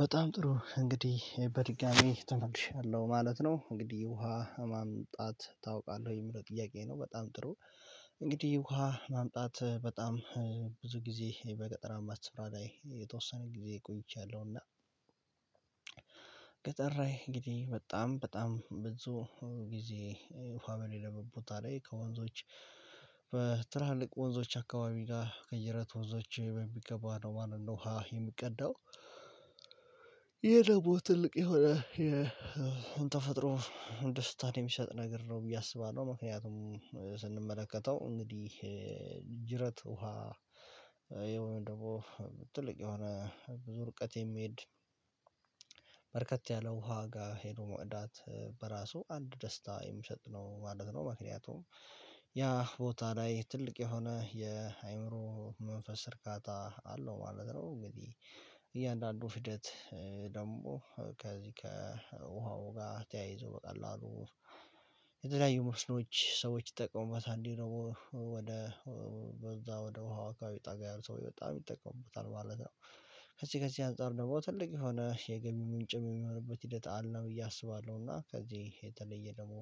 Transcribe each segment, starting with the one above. በጣም ጥሩ እንግዲህ በድጋሚ ተመልሻለሁ ማለት ነው እንግዲህ ውሃ ማምጣት ታውቃለህ የሚለው ጥያቄ ነው በጣም ጥሩ። እንግዲህ ውሃ ማምጣት በጣም ብዙ ጊዜ በገጠራማት ስፍራ ላይ የተወሰነ ጊዜ ቆይቻለሁ። እና ቀጠራዬ እንግዲህ በጣም በጣም ብዙ ጊዜ ውሃ በሌለበት ቦታ ላይ ከወንዞች በትርሃልቅ ወንዞች አካባቢ ጋር ቀይረት ወንዞች በሚገባ ነው ማለት ነው ሀ የሚቀዳው። ይሄ ደግሞ ትልቅ የሆነ የተፈጥሮ ወንድ ስታድ የሚሰጥ ነገር ነው ብዬ አስባለሁ። ምክንያቱም ስንመለከተው እንግዲህ ጅረት ውሃ ወይም ደግሞ ትልቅ የሆነ ብዙ ርቀት የሚሄድ በርከት ያለ ውሃ ጋር ሄዶ መውዳት በራሱ አንድ ደስታ የሚሰጥ ነው ማለት ነው። ምክንያቱም ያ ቦታ ላይ ትልቅ የሆነ የአእምሮ መንፈስ እርካታ አለው ማለት ነው። እንግዲህ እያንዳንዱ ፍደት ደግሞ ከዚህ ከውሃው ጋር ተያይዞ በቀላሉ የተለያዩ መስኖች ሰዎች ይጠቀሙበታል እንዴ ነው ወደ በዛ ወደ ውሃ አካባቢ ጠጋ ያሉ ሰዎች በጣም ይጠቀሙታል ማለት ነው። ከዚህ ከዚህ አንፃር ደግሞ ትልቅ የሆነ የገቢ ምንጭም የሚሆንበት ሂደት አለ ነው ብዬ አስባለሁ። እና ከዚህ የተለየ ደግሞ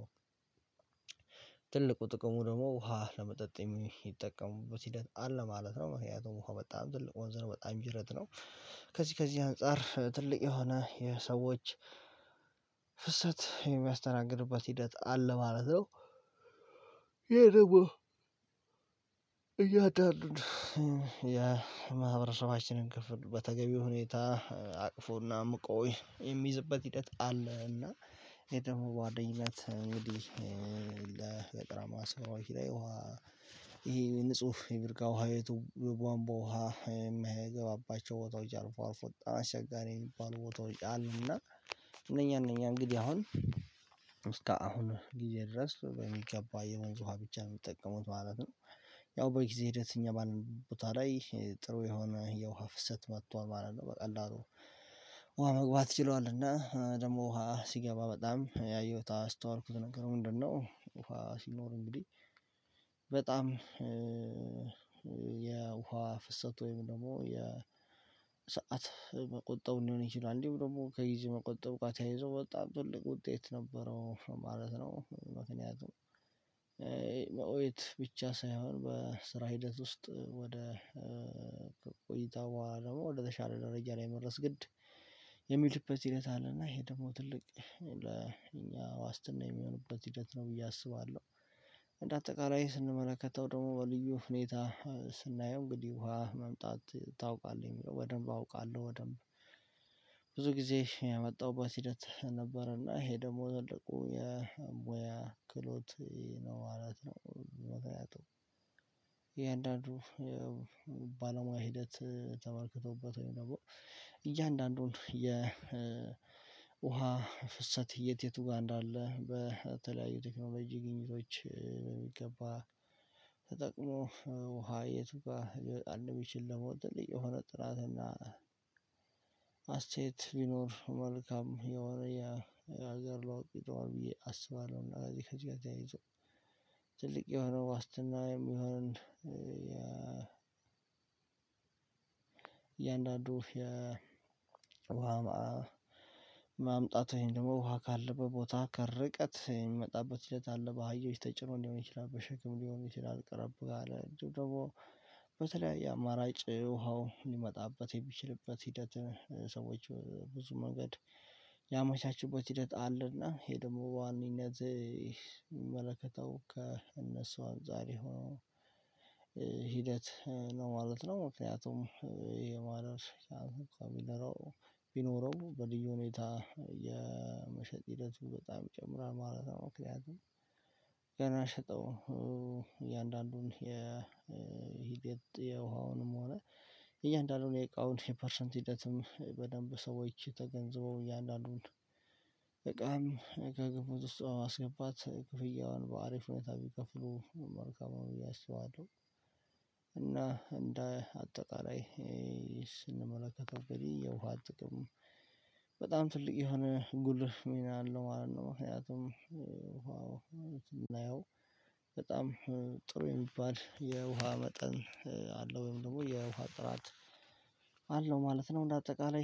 ትልቁ ጥቅሙ ደግሞ ውሃ ለመጠጥ የሚጠቀሙበት ሂደት አለ ማለት ነው። ምክንያቱም እኮ በጣም ትልቅ ወንዝ ነው በጣም ጅረት ነው። ከዚህ ከዚህ አንፃር ትልቅ የሆነ የሰዎች ፍሰት የሚያስተናግድበት ሂደት አለ ማለት ነው። ይሄ ደግሞ እያደረን የማህበረሰባችንን ክፍል በተገቢው ሁኔታ አቅፎና ምቆይ የሚይዝበት ሂደት አለ። እና ይሄ ደግሞ ጓደኝነት እንግዲህ ለበቅራማ ስብራው ይሄ ውሃ ይሄ ንጹህ የብርጋ ውሃ የትውብ ዋንቦ ውሃ የሚገባባቸው ቦታዎች አርፎ አርፎ ጣራ አስቸጋሪ የሚባሉ ቦታዎች አሉና እነኛ እነኛ እንግዲህ አሁን እስካ አሁን ጊዜ ድረስ በሚገባ የመንግስት ውሃ ብቻ ነው የሚጠቀሙት ማለት ነው። ያው በጊዜ ሂደት እኛ ባለን ቦታ ላይ ጥሩ የሆነ የውሃ ፍሰት መጥቷል ማለት ነው። በቃ አሉ ውሃ መግባት ችለዋል እና ደግሞ ውሃ ሲገባ በጣም ያየሁት አስተዋልኩት። ነገር ምንድነው ውሃ ሲኖር እንግዲህ በጣም የውሃ ፍሰት ወይም ደግሞ የሰዓት መቆጣጠር ሊሆን ይችላል እንዲሁ ደግሞ ከጊዜ መቆጠብ ጋር ተያይዞ ወጣ ትልቅ ውጤት ነበረው ማለት ነው። ምክንያቱም መኦየት ብቻ ሳይሆን በስራ ሂደት ውስጥ ወደ ቆይታ በኋላ ደግሞ ወደ ዘሻለ ደረጃ ላይ መረስ ግድ የሚልበት ሲለት አለና ይሄ ደግሞ ትልቅ ዋስትና የሚሆንበት ሂደት ነው ብዬ አስባለሁ። እንደ አጠቃላይ ስንመለከተው ደግሞ በልዩ ሁኔታ ስናየው እንግዲህ ውሃ መምጣት ታውቃለህ የሚለው በደንብ አውቃለሁ በደንብ ጊዜ የመጣሁባት ሂደት ነበርና ይሄ ደግሞ ተለቆ የሙያ ክሎት ነው። አራት ነው ሞተው ያጡ የእያንዳንዱ ባለሙያ ሂደት ተመልክቶበት ወይም ነው። እያንዳንዱን የ ውሃ ፍሰት እየት የት ውጣ እንዳለ በተለያዩ ቴክኖሎጂ ግኝቶች በሚገባ ተጠቅሎ ውሃ የት ውጋ አንድ ቢችል ደግሞ የሆነ ጥራት እና አስቴት ቢኖር መልካም የሆነ ያ አገር ለዋቂጠዋል ብዬ አስባለሁ። እና እንደዚህ ከትቂት ጋር ተያይዞ ትልቅ የሆነው ዋስትና የሚሆን እያንዳንዱ የውሃ ማምጣት ይሄን ደግሞ ውሃ ካለበት ቦታ ከርቀት የሚመጣበት ልጅት አለ በሃዮች ተጭኖ ሊሆን ይችላል። በሽግም ሊሆን ይችላል። ቅርብ አለ ደግሞ በተለያየ አማራጭ ውሃው ሊመጣበት የሚችልበት ሂደት ሰዎች ብዙ መንገድ ያመቻችበት ሂደት አለና። ይሄ ደግሞ በዋነኝነት የሚመለከተው ከእነሱ አንፃር ይሆ ሂደት ነው ማለት ነው። ምክንያቱም የማድረስ ያንንኳን ቢኖረው በድዩ ሁኔታ የመሸጥ ሂደቱ በጣም ይጨምራል ማለት ነው። ምክንያቱም ገና ሽጠው እያንዳንዱን የሂደት የውሃውንም ሆነ እያንዳንዱን የእቃውን የፐርሰንት ሂደትም በደንብ ሰዎች ተገንዝበው እያንዳንዱን በቃ ከግንፉት ውስጥ በማስገባት ክፍያውን በአሪፍ ሁኔታ ቢከፍሉ መርከብ አሁን ብዬ አስባለሁ። እና እንደ አጠቃላይ ስንመለከተው ግን የውሃ ጥቅም በጣም ትልቅ የሆነ ጉልህ ሚና አለው ማለት ነው። አያቱም ውሃው ማለት ነው በጣም ጥሩ የሚባል የውሃ መጠን አለው ወይም ደግሞ የውሃ ጥራት አለው ማለት ነው። እንደ አጠቃላይ